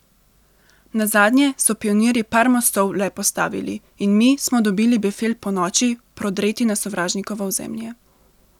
Nazadnje so pionirji par mostov le postavili in mi smo dobili befel ponoči prodreti na sovražnikovo ozemlje.